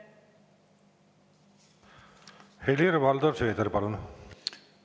Helir-Valdor Seeder, palun!